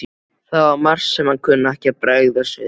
Það var margt sem hann kunni ekki að bregðast við.